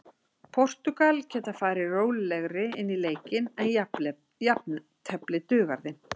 Portúgal geta farið rólegri inn í leikinn en jafntefli dugar þeim.